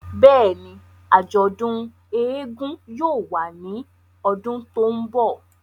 Bẹ́ẹ̀ni, ajọdun éégún yóò wa ni ọdun to nbọ.